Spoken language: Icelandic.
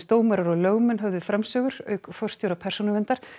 dómarar og lögmenn höfðu framsögur auk forstjóra Persónuverndar